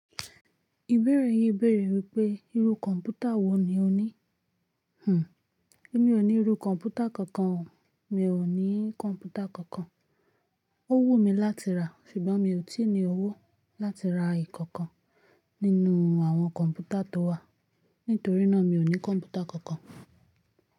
Ìbéèrè yìí béèrè wípé irú kọ̀ǹpútà wò ní o ní? Hmmm, Èmi ò ní irú kọ̀ǹpútà kankan, mi ò ní kọ̀ǹpútà kankan. Ó wùmí láti rà, ṣùgbọ́n mi ò tí ì ní owó láti rà ìkankan nínú àwọn kọ̀ǹpútà tó wà. Nítorí náà, mi ò ní kọ̀ǹpútà kankan.